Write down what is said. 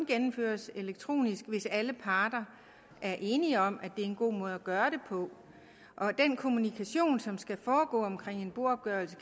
gennemføres elektronisk hvis alle parter er enige om at det er en god måde at gøre det på og at den kommunikation som skal foregå i med en boopgørelse